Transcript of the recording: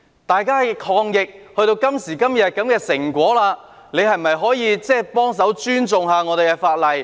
大家抗疫至今，達致今天的成果，是否可以幫忙尊重一下法例？